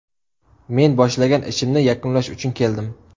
Men boshlagan ishimni yakunlash uchun keldim.